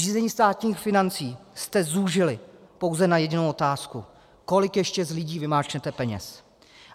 Řízení státních financí jste zúžili pouze na jedinou otázku - kolik ještě z lidí vymáčknete peněz.